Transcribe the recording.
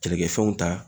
Kɛlɛkɛfɛnw ta